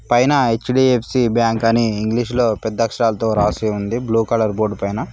పైన HDFC bank అని ఇంగ్లీషులో పెద్ద అక్షరాలతో రాసి ఉంది బ్లూ కలర్ బోర్డ్ పైన.